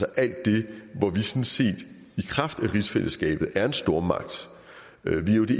alt det hvor vi sådan set i kraft af rigsfællesskabet er en stormagt